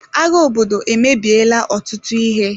Agha obodo emebiela ọtụtụ ihe.